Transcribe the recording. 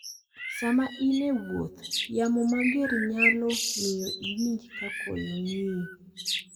Sama in e wuoth, yamo mager nyalo miyo iwinj ka koyo ng'iyi.